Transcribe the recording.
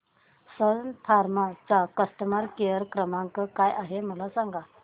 सन Pharma चा customer care क्रमांक काय आहे मला सांगा